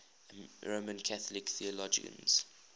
roman catholic theologians